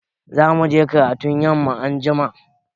Za mu je karatun yamma anjima.